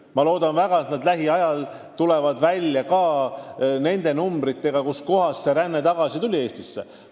Ma loodan, et nad lähiajal tulevad välja ka arvudega, mis näitavad, kust kohast inimesed on Eestisse tulnud.